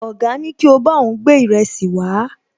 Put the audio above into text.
Ọ̀gá ní kí ó bá òun gbé ìrẹsì wàá